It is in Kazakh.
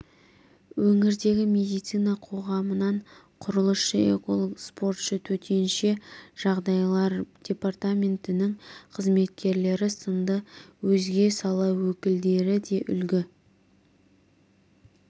өңірдегі медицина қоғамынан құрылысшы эколог спортшы төтенше жаңдайлар департаментінің қызметкерлері сынды өзге сала өкілдері де үлгі